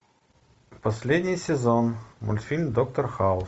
последний сезон мультфильм доктор хаус